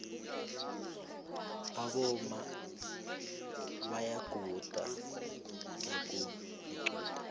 aboma bayaguda nakunequde